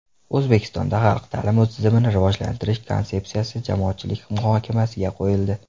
O‘zbekistonda xalq ta’limi tizimini rivojlantirish konsepsiyasi jamoatchilik muhokamasiga qo‘yildi.